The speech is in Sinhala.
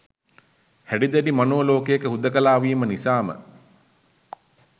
හැඩි දැඩි මනෝ ලෝකයක හුදකලා වීම නිසාම